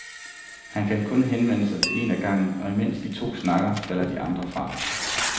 Han kan kun henvende sig til en af gangen, og imens de to snakker, falder de andre fra.